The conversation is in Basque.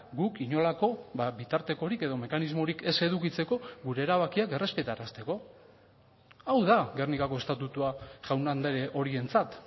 guk inolako bitartekorik edo mekanismorik ez edukitzeko gure erabakiak errespetarazteko hau da gernikako estatutua jaun andre horientzat